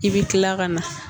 I bɛ kila ka na